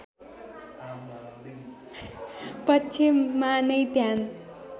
पक्षमा नै ध्यान